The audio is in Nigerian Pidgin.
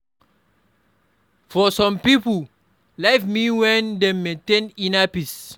For some pipo, life mean when dem maintain inner peace